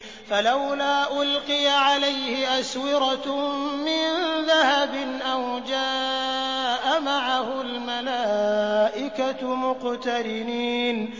فَلَوْلَا أُلْقِيَ عَلَيْهِ أَسْوِرَةٌ مِّن ذَهَبٍ أَوْ جَاءَ مَعَهُ الْمَلَائِكَةُ مُقْتَرِنِينَ